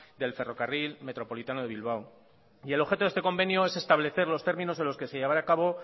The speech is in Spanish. del ferrocarril metropolitano de bilbao y el objeto de este convenio es establecer los términos en los que se llevará a cabo